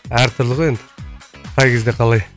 әртүрлі ғой енді қай кезде қалай